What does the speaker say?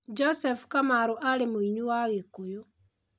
Joseph Kamaru aarĩ mũini wa Gĩkuyu.